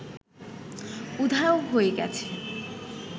উধাও হয়ে গেছে